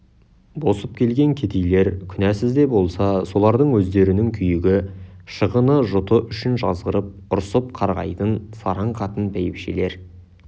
босып келген кедейлер күнәсіз де болса солардың өздерінің күйігі шығыны жұты үшін жазғырып ұрсып қарғайтын сараң қатын бәйбішелер